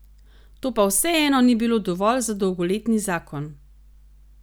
To pa vseeno ni bilo dovolj za dolgoletni zakon.